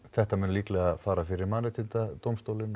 þetta mun líklega fara fyrir Mannréttindadómstólinn